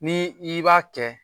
Ni i b'a kɛ